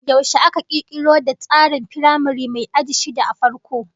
Yaushe aka kirkiro da tsarin firamare mai aji shida a farko?